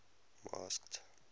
masked